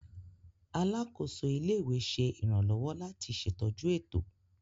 Alakoso ile-iwe ṣe iranlọwọ lati ṣetọju eto.